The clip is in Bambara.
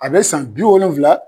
A bɛ san bi wolonwula